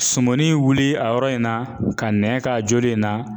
Sumuni wuli a yɔrɔ in na ka nɛn k'a joli in na